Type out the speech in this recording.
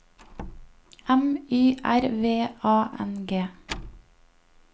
M Y R V A N G